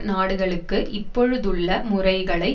நாடுகளுக்கு இப்பொழுதுள்ள முறைகளை